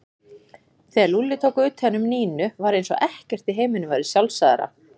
Þegar Lúlli tók utan um Nínu var eins og ekkert í heiminum væri sjálfsagðara.